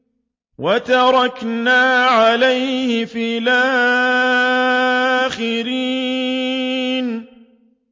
وَتَرَكْنَا عَلَيْهِ فِي الْآخِرِينَ